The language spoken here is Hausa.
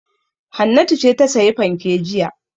Hannatu ce ta sayi fanke jiya.